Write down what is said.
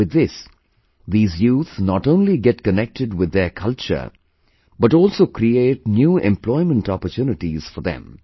With this, these youth not only get connected with their culture, but also create new employment opportunities for them